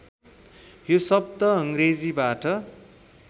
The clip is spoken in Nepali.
यो शब्द अङ्ग्रेजीबाट